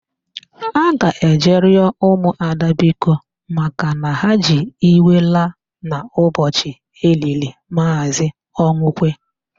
A ga-eje ịrịọ ụmụada biko makana ha ji iwe laa n'ụbọchị e liri Maazị Ọnwụkwe.